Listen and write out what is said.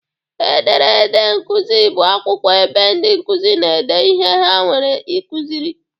Ederede nkuzi bụ akwụkwọ ebe ndị nkuzi na-ede ihe ha nwere ikuziri